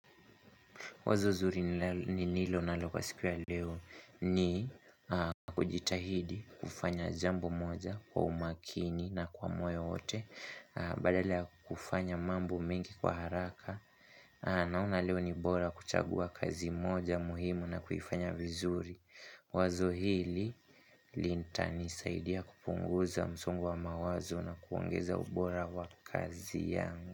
Wazozuri ni nilo nalo kwa sikuwa leo ni kujitahidi kufanya jambo moja kwa umakini na kwa moyo wote Badala ya kufanya mambo mengi kwa haraka Naona leo ni bora kuchagua kazi moja muhimu na kufanya vizuri Wazohili lintani saidia kupunguza msongo wa mawazo na kuongeza ubora wa kazi yangu.